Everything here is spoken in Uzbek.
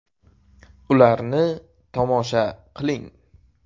Ularni tomosha qiling !